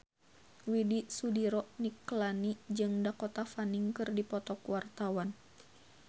Widy Soediro Nichlany jeung Dakota Fanning keur dipoto ku wartawan